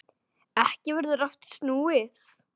Ekki verður aftur snúið.